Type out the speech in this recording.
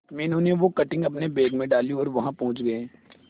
मीनू ने वो कटिंग अपने बैग में डाली और वहां पहुंच गए